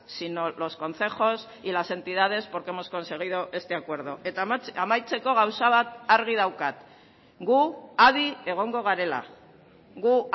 sino los concejos y las entidades porque hemos conseguido este acuerdo eta amaitzeko gauza bat argi daukat gu adi egongo garela gu